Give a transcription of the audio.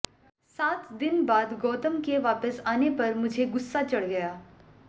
सात दिन बाद गौतम के वापस आने पर मुझे गुस्सा चढ़ गया